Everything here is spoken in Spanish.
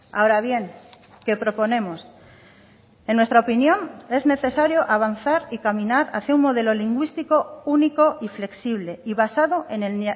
ahora bien qué proponemos en nuestra opinión es necesario avanzar y caminar hacia un modelo lingüístico único y flexible y basado en el